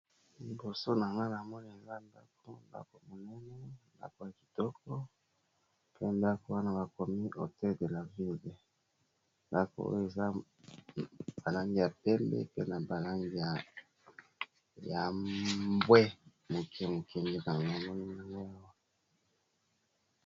Liboso nanga na moni eza ndako ndako monene ndako ya kitoko pe ndako wana bakomi hotel de la vile, ndako oyo eza ba langi ya pembe na ba langi ya mbwe moke moke nde namoni ezali.